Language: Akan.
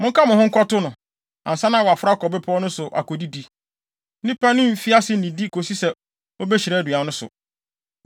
Monka mo ho nkɔto no, ansa na waforo akɔ bepɔw no so akodidi. Nnipa no mfi ase nnidi kosi sɛ obehyira aduan no so.”